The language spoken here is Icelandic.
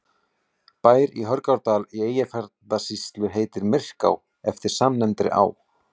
bær í hörgárdal í eyjafjarðarsýslu heitir myrká eftir samnefndri á